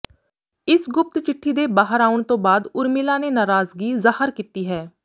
ਇਸ ਗੁਪਤ ਚਿੱਠੀ ਦੇ ਬਾਹਰ ਆਉਣ ਤੋਂ ਬਾਅਦ ਉਰਮਿਲਾ ਨੇ ਨਾਰਾਜ਼ਗੀ ਜ਼ਾਹਰ ਕੀਤੀ ਹੈ